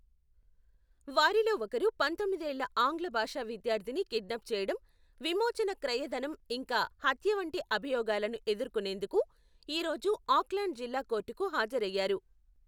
వారిలో ఒకరు పంతొమ్మిది ఏళ్ల ఆంగ్ల భాషా విద్యార్థిని కిడ్నాప్ చేయడం, విమోచన క్రయధనం ఇంకా హత్య వంటి అభియోగాలను ఎదుర్కొనేందుకు, ఈరోజు ఆక్లాండ్ జిల్లా కోర్టుకు హాజరయ్యారు.